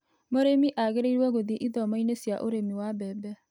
Mũrĩmi agĩrĩirwo gũthiĩ ithomo-inĩ cia ũrĩmi wa mbembe.